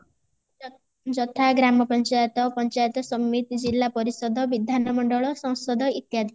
ଯଥା ଗ୍ରାମ ପଞ୍ଚାୟତ ପଞ୍ଚାୟତ ସମିତି ଜିଲ୍ଲା ପରିଷଦ ବିଧାନ ମଣ୍ଡଳ ସଂସଦ ଇତ୍ୟାଦି